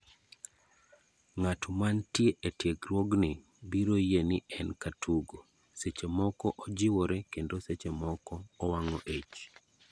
Ng'ato mantie e tiegruogni biro yie ni en katugo, seche moko ojiwore kendo seche moko owang'o ich.